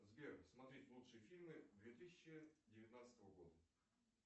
сбер смотреть лучшие фильмы две тысячи девятнадцатого года